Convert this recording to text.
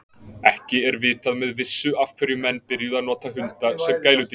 Ekki er vitað með vissu af hverju menn byrjuðu að nota hunda sem gæludýr.